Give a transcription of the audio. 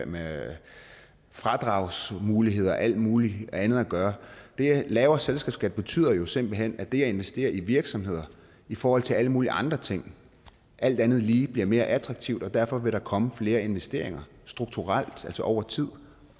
med fradragsmuligheder og alt muligt andet at gøre lavere selskabsskat betyder jo simpelt hen at det at investere i virksomheder i forhold til alle mulige andre ting alt andet lige bliver meget mere attraktivt og derfor vil der komme flere investeringer strukturelt altså over tid